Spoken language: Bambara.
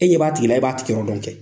E ɲɛ b'a tigi la e b'a tigiyɔrɔ dɔn kɛ.